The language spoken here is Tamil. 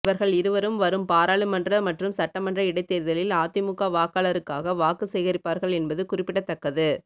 இவர்கள் இருவரும் வரும் பாராளுமன்ற மற்றும் சட்டமன்ற இடைத்தேர்தலில் அதிமுக வாக்காளருக்காக வாக்கு சேகரிப்பார்கள் என்பது குறிப்பிடத்தக்கது